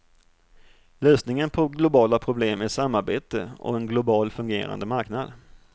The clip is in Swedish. Lösningen på globala problem är samarbete och en global fungerande marknad.